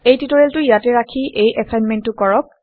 এই টিউটৰিয়েলটো ইয়াতে ৰাখি এই এচাইনমেণ্টটো কৰক